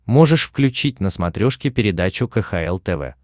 можешь включить на смотрешке передачу кхл тв